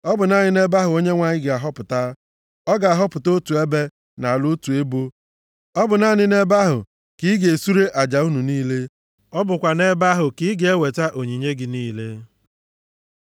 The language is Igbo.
ọ bụ naanị nʼebe ahụ Onyenwe anyị ga-ahọpụta. Ọ ga-ahọpụta otu ebe, nʼala otu ebo. Ọ bụ naanị nʼebe ahụ ka ị ga-esure aja unu niile, ọ bụkwa nʼebe ahụ ka ị ga-eweta onyinye gị niile.